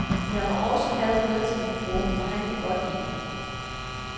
Jeg må også have noget til min bror, for han kan godt lide det.